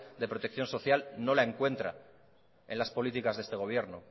de protección social no la encuentra en las políticas de este gobierno